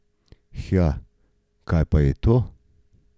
Hja, kaj pa je to?